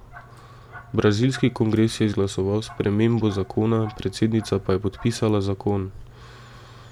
Brazilski kongres je izglasoval spremembo zakona, predsednica pa je podpisala zakon.